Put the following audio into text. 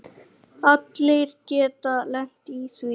Allir geta lent í því.